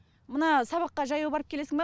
мына сабаққа жаяу барып келесің ба